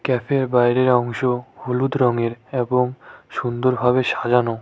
ক্যাফের বাইরের অংশ হলুদ রঙের এবং সুন্দর ভাবে সাজানো।